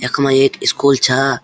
याख्मा एक इस्कूल छा।